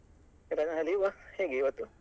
ಆಯ್ತಾ leave ಆ ಹೇಗೆ ಇವತ್ತು?